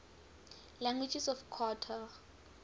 languages of qatar